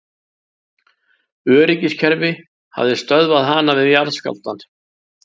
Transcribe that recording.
Öryggiskerfi hafi stöðvað hana við jarðskjálftann